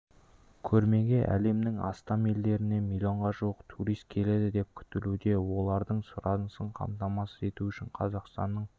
көрмеге әлемнің астам елінен миллионға жуық турист келеді деп күтілуде олардың сұранысын қамтамасыз ету үшін қазақстанның